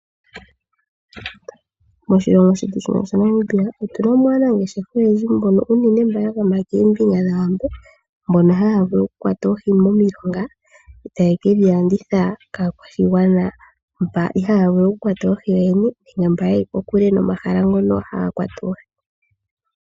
Moshilongo shetu shino shaNamibia otuna mo aanangeshefa oyendji, mbono unene yagama koombinga dhawambo, mbono haya vulu okukwata oohi momilonga, e taye kedhi landitha kaakwashigwana mba ihaaya vulu okukwata oohi yooyene, nenge mba yeli kokule nomahala ngono haga kwatwa oohi.